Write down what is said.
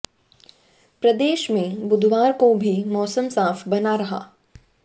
प्रदेश में बुधवार को भी मौसम साफ बना रहा